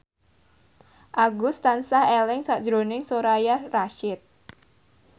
Agus tansah eling sakjroning Soraya Rasyid